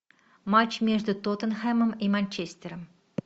матч между тоттенхэмом и манчестером